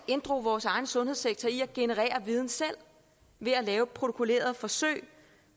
inddrog vores egen sundhedssektor i at generere viden selv ved at lave protokollerede forsøg